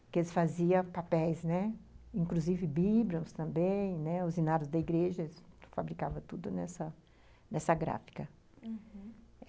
porque eles faziam papéis, né, inclusive bíblias também, os hinários da igreja, eles fabricavam tudo nessa nessa gráfica, uhum.